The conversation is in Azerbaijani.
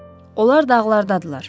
Onlar dağlardadırlar.